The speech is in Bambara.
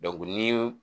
ni